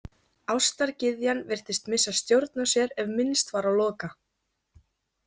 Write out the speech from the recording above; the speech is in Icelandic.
Ástargyðjan virtist missa stjórn á sér ef minnst var á Loka.